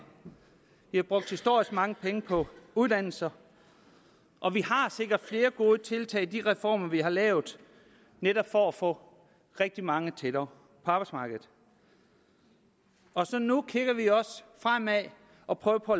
brugt historisk mange penge på uddannelser og vi har sikret flere gode tiltag i de reformer vi har lavet netop for at få rigtig mange tættere på arbejdsmarkedet nu kigger vi også fremad og prøver på